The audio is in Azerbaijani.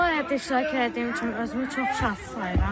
Bu layihədə iştirak etdiyim üçün özümü çox şanslı sayıram.